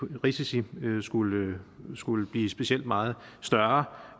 risici skulle skulle blive specielt meget større